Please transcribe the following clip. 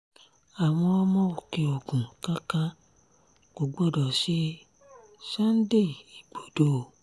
àwọn ọmọ òkè-ogun nǹkan kan kò gbọdọ̀ ṣe sunday igbodò o